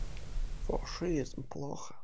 фашизм плохо